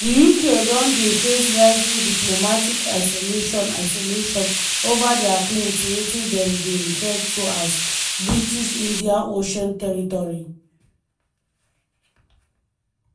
di uk don dey face rising diplomatic isolation isolation ova dia claim to wetin dem dey refer to as di 'british indian ocean territory'.